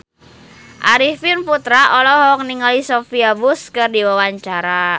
Arifin Putra olohok ningali Sophia Bush keur diwawancara